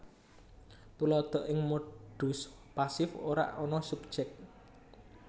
Tuladha Ing modus pasif ora ana subjèk